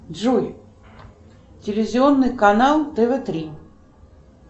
джой телевизионный канал тв три